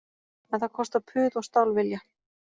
En það kostar puð og stálvilja